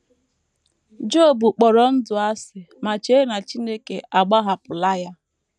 Job kpọrọ ndụ asị ma chee na Chineke agbahapụla ya.